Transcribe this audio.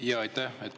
Aitäh!